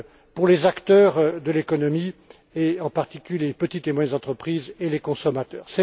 pour les acteurs de l'économie et, en particulier, les petites et moyennes entreprises et les consommateurs.